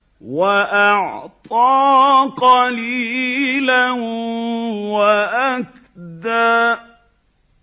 وَأَعْطَىٰ قَلِيلًا وَأَكْدَىٰ